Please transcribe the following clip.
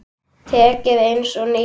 Tækið eins og nýtt.